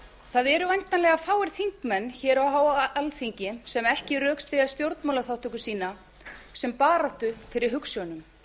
það eru væntanlega fáir þingmenn hér á háu alþingi sem ekki rökstyðja stjórnmálaþátttöku sína sem baráttu fyrir hugsjónum